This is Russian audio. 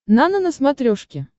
нано на смотрешке